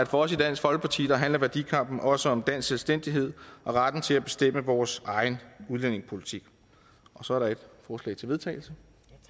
for os i dansk folkeparti handler værdikampen også om dansk selvstændighed og retten til at bestemme vores egen udlændingepolitik så er der et forslag til vedtagelse